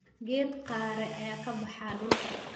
Geed qare ayaa ka baxa dhulka